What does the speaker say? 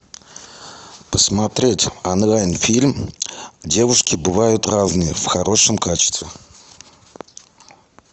посмотреть онлайн фильм девушки бывают разные в хорошем качестве